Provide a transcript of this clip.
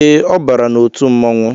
Ee, ọ bara n'otu mmọnwu